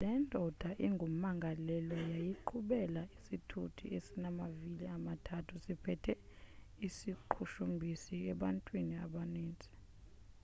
le ndoda ingumangalelwa yayiqhubela isithuthi esinamavili amathathu siphethe iziqhushumbisi ebantwini abaninzi